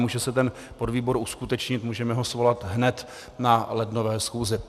Může se ten podvýbor uskutečnit, můžeme ho svolat hned na lednové schůzi.